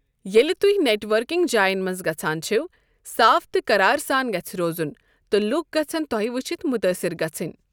ییٚلہ تہۍ networking جاین منٛز گژھان چھوٕ، صاف تہٕ قرار ساں گژھہِ روزن تہٕ لوٗکھ گژھہن تۄہہ وٕچتھ متٲثر گژھن۔